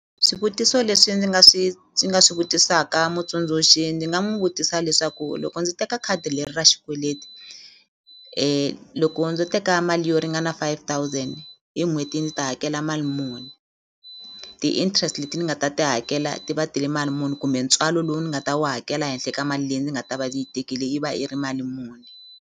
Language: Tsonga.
Swivutiso leswi ndzi nga swi ndzi nga swi vutisaka mutsundzuxi ndzi nga n'wi vutisa leswaku loko ndzi teka khadi leri ra xikweleti loko ndzo teka mali yo ringana five thousand hi n'hweti ndzi ta hakela mali muni ti-interest leti ni nga ta ti hakela ti va ti ri mali muni kumbe ntswalo lowu ni nga ta wu hakela henhle ka mali leyi ni nga ta va ni yi tekile yi va yi ri mali muni.